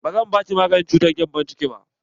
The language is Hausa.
Ba zan baki maganin cutar gembon ciki ba!